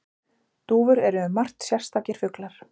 Dúfur eru um margt sérstakir fuglar.